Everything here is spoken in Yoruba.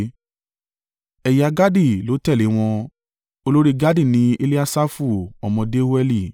Ẹ̀yà Gadi ló tẹ̀lé wọn. Olórí Gadi ni Eliasafu ọmọ Deueli.